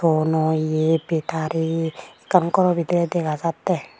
Bonoye bettary ekkan goro bidire dega jatte.